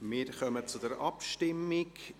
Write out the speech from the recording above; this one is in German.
Wir kommen zur Abstimmung.